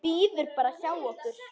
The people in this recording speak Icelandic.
Bíður bara hjá okkur!